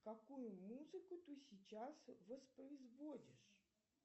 какую музыку ты сейчас воспроизводишь